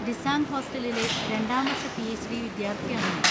ഡിസാങ് ഹോസ്റ്റലിലെ രണ്ടാം വർഷ പി.എച്ച്.ഡി. വിദ്യാർത്ഥിയാണ് ഞാൻ.